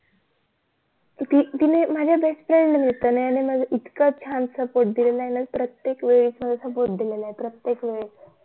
ती तिन्ही माझ्या BEST FRIEND होत्या ना यांनी मला इतकं छान SUPPORT दिलेलं आहे ना प्रत्येक वेळेस मला SUPPORT दिलेलं आहे प्रत्येक वेळेस